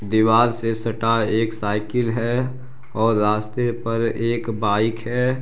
दीवाल से सटा एक साइकिल है और रास्ते पर एक बाइक है।